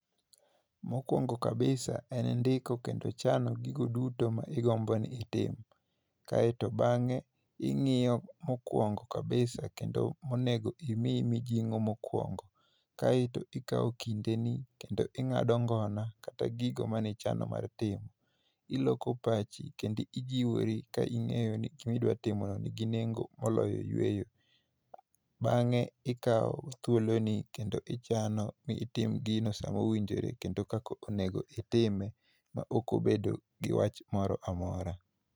Mokwongo kabisa, en ndiko kendo chano gigi duto ma igombo ni itim. Kaeto bangé, ingíyo mokwongo kabisa, kendo monego imi mijingó mokwongo, kaeto ikawo kindeni, kendo ingádo ngona, kata gigo mane ichano mar timo. Iloko pachi, kendo ijiwori, ka ingéyo ni gik ma idwa timono nigi nengo moloyo yueyo. Bangé ikawo thuoloni kendo ichano bi itim gino e sama owinjore, kendo kaka onego itime, ma ok obedo gi wach moro amora.